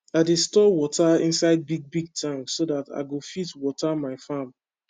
i dey store wata inside big big tank so that i go fit wata my farm